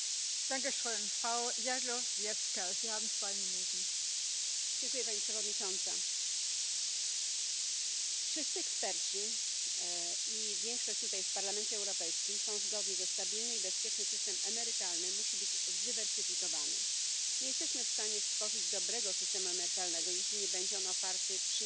Ich möchte noch einmal an das erinnern, was ich schon zu Beginn der Sitzung gesagt habe, dass es bei dieser Aussprache kein Verfahren der spontanen Wortmeldungen gibt und dass keine blauen Karten angenommen werden. Das tut mir sehr